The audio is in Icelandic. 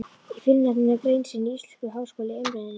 Í fyrrnefndri grein sinni Íslenskur háskóli í Eimreiðinni